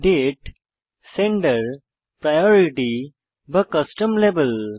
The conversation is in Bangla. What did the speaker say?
দাতে সেন্ডার প্রায়োরিটি বা কাস্টম লাবেল